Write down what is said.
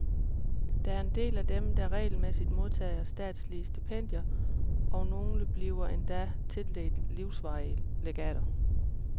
Der er en del af dem, der regelmæssigt modtager statslige stipendier, og nogle bliver endda tildelt livsvarige legater.